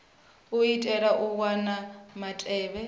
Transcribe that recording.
u itela u wana mutevhe